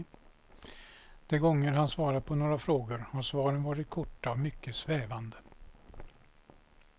De gånger han svarat på några frågor har svaren varit korta och mycket svävande.